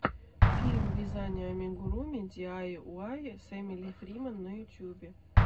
фильм вязания амигуруми диайуай с эмили фриман на ютюбе